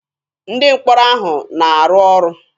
Ndị mkpọrọ ahụ na-arụ ọrụ.